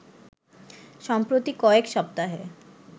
সম্প্রতি কয়েক সপ্তাহে